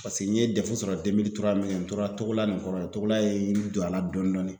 Paseke n ye sɔrɔ n tora togola la nin togola ye n don a la dɔɔni dɔɔni.